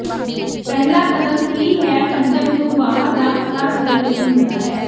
ਪਹਿਲਾ ਕਦਮ ਕੀ ਹੈ ਪੰਜਵ ਨੂੰ ਬਾਹਰ ਦਾ ਪਤਾ ਕਰਨ ਲਈ ਹੁੰਦਾ ਹੈ